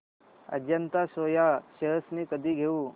Ajanta soya shares मी कधी घेऊ